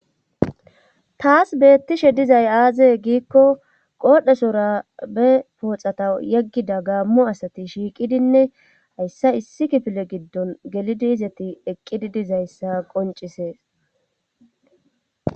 Tas beettishe dizay aazee giikko oodhesora be pooxata yeggida gaammu asati shiiqidinne hayssa issi kifile giddon gelidi izati eqqidi dizayssa qoncisees.